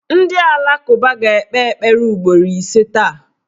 Ndị alakụba ga-ekpe ekpere ugboro ise taa